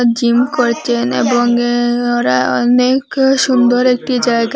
Gym করচেন এবং এ ওরা অনেক সুন্দর একটি জায়গা।